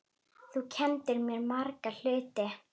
Þú kenndir mér marga hluti.